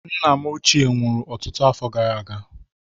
Nna m ochie nwụrụ ọtụtụ afọ gara aga.